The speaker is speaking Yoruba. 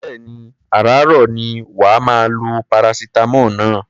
Bẹ́ẹ̀ni, àràáàrọ̀ ni wà á máa lo paracetamol náà.